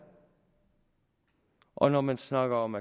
og når man snakker om